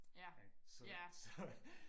ja ja